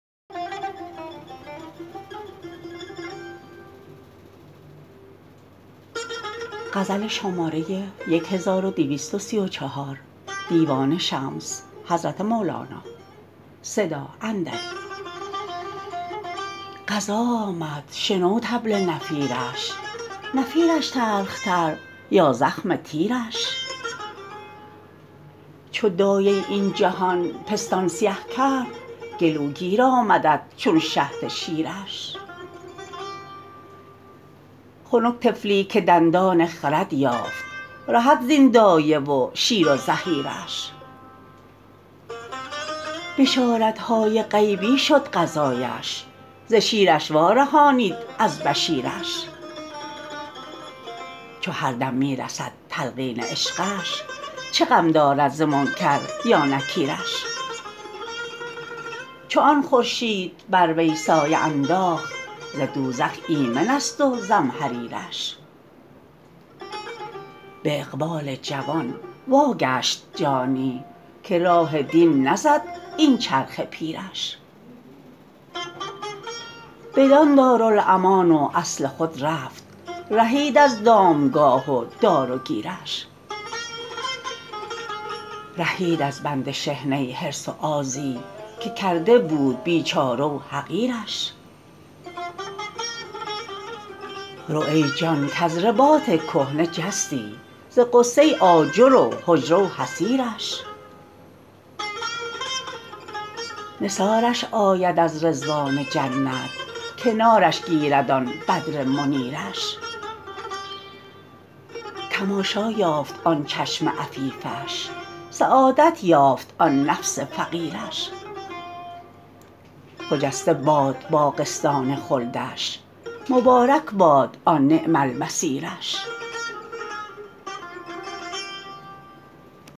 قضا آمد شنو طبل نفیرش نفیرش تلختر یا زخم تیرش چو دایه این جهان پستان سیه کرد گلوگیر آمدت چون شهد شیرش خنک طفلی که دندان خرد یافت رهد زین دایه و شیر و زحیرش بشارت های غیبی شد غذااش ز شیرش وارهانید از بشیرش چو هر دم می رسد تلقین عشقش چه غم دارد ز منکر یا نکیرش چو آن خورشید بر وی سایه انداخت ز دوزخ ایمنست و زمهریرش به اقبال جوان واگشت جانی که راه دین نزد این چرخ پیرش بدان دارالامان و اصل خود رفت رهید از دامگاه و دار و گیرش رهید از بند شحنه حرص و آزی که کرده بود بیچاره و حقیرش رو ای جان کز رباط کهنه جستی ز غصه آجر و حجره و حصیرش نثارش آید از رضوان جنت کنارش گیرد آن بدر منیرش تماشا یافت آن چشم عفیفش سعادت یافت آن نفس فقیرش خجسته باد باغستان خلدش مبارک باد آن نعم المصیرش